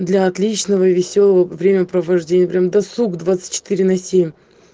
для отличного весёлого времяпровождения прямо досуг двадцать четыре на семь